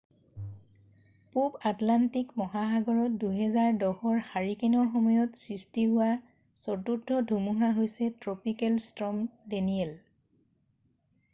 পূৱ আটলাণ্টিক মহাসাগৰত 2010ৰ হাৰিকেনৰ সময়ত সৃষ্টি হোৱা চতুৰ্থ ধুমুহা হৈছে ট্ৰপিকেল ষ্টৰ্ম ডেনিয়েল